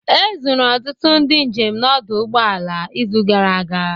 Ezuru ọtụtụ ndị njem n'ọdụ ụgbọ ala izu gara aga